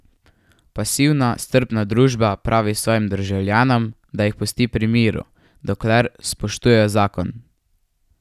Pasivna strpna družba pravi svojim državljanom, da jih pusti pri miru, dokler spoštujejo zakon.